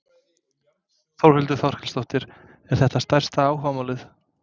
Þórhildur Þorkelsdóttir: Er þetta stærsta áhugamálið?